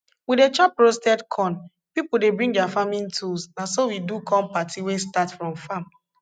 we dey chop roasted corn people dey bring dia farming tools na so we do corn party wey start for farm